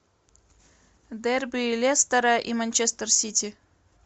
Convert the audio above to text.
дерби лестера и манчестер сити